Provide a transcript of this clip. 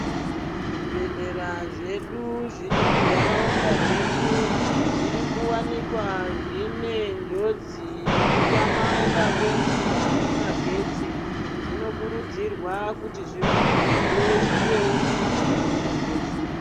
Zvibhedhlera zvedu zviri mundaraunda dzedu zviri kuwanikwa zvine njodzi yekutamika kwemvura nemagetsi zvinokurudzirwa kuti zviwandudze zvewewo nemvura nemagetsi.